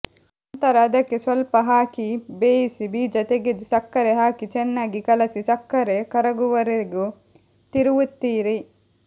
ನಂತರ ಅದಕ್ಕೆ ಸ್ವಲ್ಪ ಹಾಕಿ ಬೇಯಿಸಿ ಬೀಜ ತೆಗೆದು ಸಕ್ಕರೆ ಹಾಕಿ ಚೆನ್ನಾಗಿ ಕಲಸಿ ಸಕ್ಕರೆ ಕರಗುವವರೆಗೂ ತಿರುವುತ್ತಿರಿ